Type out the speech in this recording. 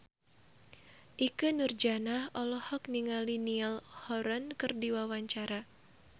Ikke Nurjanah olohok ningali Niall Horran keur diwawancara